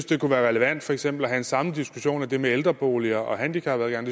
det kunne være relevant for eksempel have den samme diskussion af det med ældreboliger og handicapadgang